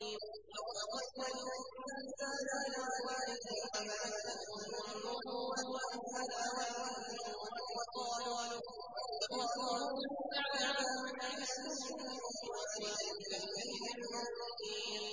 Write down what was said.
وَوَصَّيْنَا الْإِنسَانَ بِوَالِدَيْهِ حَمَلَتْهُ أُمُّهُ وَهْنًا عَلَىٰ وَهْنٍ وَفِصَالُهُ فِي عَامَيْنِ أَنِ اشْكُرْ لِي وَلِوَالِدَيْكَ إِلَيَّ الْمَصِيرُ